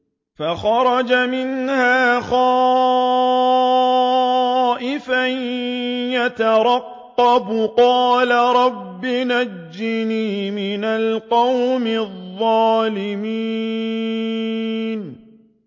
فَخَرَجَ مِنْهَا خَائِفًا يَتَرَقَّبُ ۖ قَالَ رَبِّ نَجِّنِي مِنَ الْقَوْمِ الظَّالِمِينَ